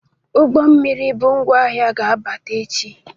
Ụgbọ mmiri bu ngwa ahịa ga-abata echi.